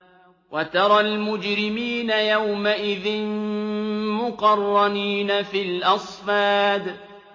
وَتَرَى الْمُجْرِمِينَ يَوْمَئِذٍ مُّقَرَّنِينَ فِي الْأَصْفَادِ